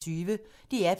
DR P1